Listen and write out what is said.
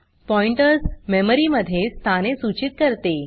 pointers memory मध्ये स्थाने सूचीत करते